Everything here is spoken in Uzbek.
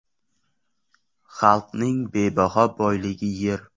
Xalqning bebaho boyligi yer.